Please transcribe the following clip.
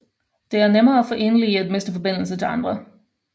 Det er nemmere for enlige at miste forbindelse til andre